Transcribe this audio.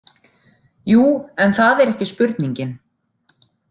Jú, en það er ekki spurningin.